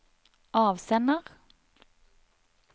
avsender